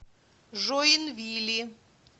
жоинвили